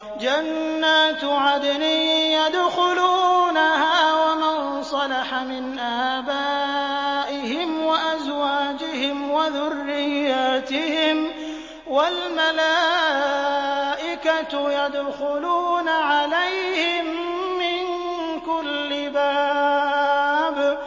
جَنَّاتُ عَدْنٍ يَدْخُلُونَهَا وَمَن صَلَحَ مِنْ آبَائِهِمْ وَأَزْوَاجِهِمْ وَذُرِّيَّاتِهِمْ ۖ وَالْمَلَائِكَةُ يَدْخُلُونَ عَلَيْهِم مِّن كُلِّ بَابٍ